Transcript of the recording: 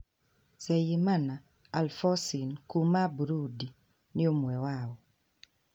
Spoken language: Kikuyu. Nzeyimana Alphoncine kuuma Burundi nĩ ũmwe wao.